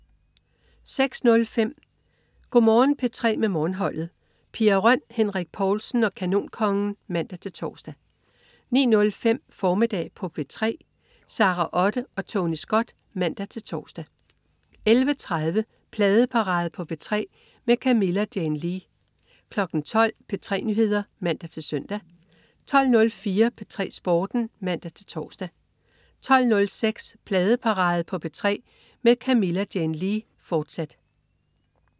06.05 Go' Morgen P3 med Morgenholdet. Pia Røn, Henrik Povlsen og Kanonkongen (man-tors) 09.05 Formiddag på P3. Sara Otte og Tony Scott (man-tors) 11.30 Pladeparade på P3 med Camilla Jane Lea 12.00 P3 Nyheder (man-søn) 12.04 P3 Sporten (man-tors) 12.06 Pladeparade på P3 med Camilla Jane Lea, fortsat